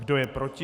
Kdo je proti?